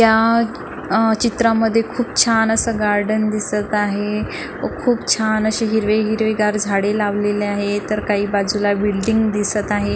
या आ चित्रामध्ये खूप छान अस गार्डन दिसत आहे खूप छान अशी हिरवी हिरवीगार झाड लावलेली आहेत तर काही बाजूला बिल्डींग दिसत आहे.